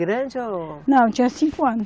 Grande ou. Não, tinha cinco anos.